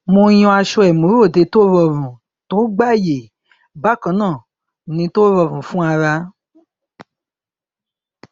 mo yan aṣọ ìmúròde tó rọrùn tó gbáàyè bákan náà ni tó rọrùn fún ara